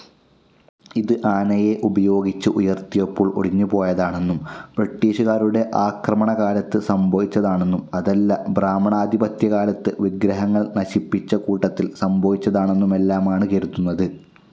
ഇത് ആനയെ ഉപയോഗിച്ച് ഉയർത്തിയപ്പോൾ ഒടിഞ്ഞുപോയതാണെന്നും ബ്രിട്ടീഷുകാരുടെ ആക്രമണകാലത്ത് സംഭവിച്ചതാണെന്നും അതല്ല ബ്രാഹ്മണാധിപത്യക്കാലത്ത് വിഗ്രഹങ്ങൾ നശിപ്പിച്ച കൂട്ടത്തിൽ സംഭവിച്ചതാണെന്നുമെല്ലാമാണ്‌ കരുതുന്നത്.